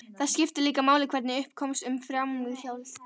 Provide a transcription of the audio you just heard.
Það skiptir líka máli hvernig upp komst um framhjáhaldið.